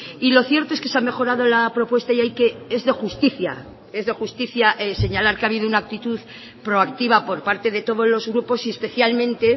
y lo cierto es que se ha mejorado la propuesta y hay que es de justicia es de justicia señalar que ha habido una actitud proactiva por parte de todos los grupos y especialmente